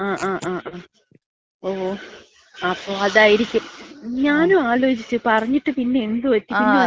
ങ്ങാ ങ്ങാ ങ്ങാ. ഓ അപ്പൊ അതായിരിക്കും. ഞാനും ആലോചിച്ച്. പറഞ്ഞിട്ട് പിന്നെ എന്ത് പറ്റിന്ന്? പിന്ന